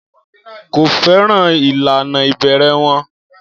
Kò fẹ́ràn ìlànà ìbẹ̀rẹ̀ wọn.